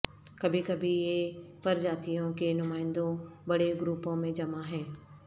کبھی کبھی یہ پرجاتیوں کے نمائندوں بڑے گروپوں میں جمع ہیں